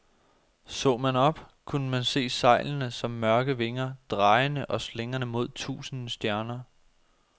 Så man op, kunne man se sejlene som mørke vinger, drejende og slingrende mod tusinde stjerner.